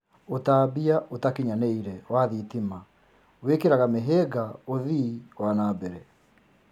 Ũtambia ũtakinyanĩire wa thitima wĩkĩraga mĩhĩnga uthii wa nambere